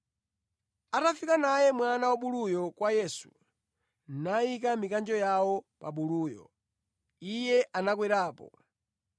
Atafika naye mwana wabulu kwa Yesu, nayika mikanjo yawo pa buluyo, Iye anakwerapo.